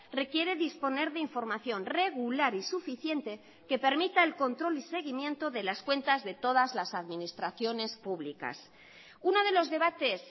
requiere disponer de información regular y suficiente que permita el control y seguimiento de las cuentas de todas las administraciones públicas uno de los debates